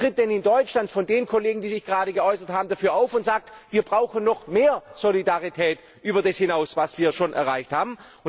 Wer tritt denn in Deutschland von den Kollegen, die sich gerade geäußert haben, dafür ein und sagt Wir brauchen noch mehr Solidarität über das hinaus, was wir schon erreicht haben.